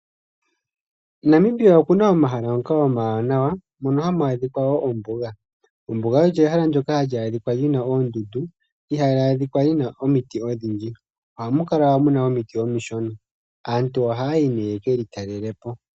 MoNamibia omuna omahala ngoka omawanawa ngono haga adhika woo oombuga. Ombuga olyo ehala ndyoka hali adhika oondundu, ihali adhika omiti odhindji. Ohamu kala muna omiti omishona. Aantu ohaya yi yekelj talele po.